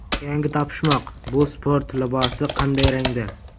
Yangi topishmoq: bu sport libosi qanday rangda?.